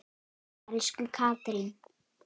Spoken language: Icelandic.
Elsku Katrín.